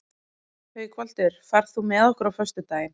Haukvaldur, ferð þú með okkur á föstudaginn?